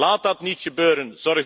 Laat dat niet gebeuren.